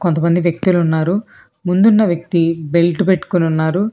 కొంతమంది వ్యక్తులు ఉన్నారు ముందు ఉన్న వ్యక్తి బెల్ట్ పెట్టుకొని ఉన్నారు.